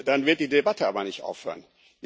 Dann wird die Debatte aber nicht aufhören.